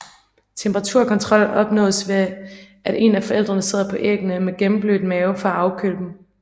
Temperaturkontrol opnås ved at en af forældrene sidder på æggene med gennemblødt mave for at afkøle dem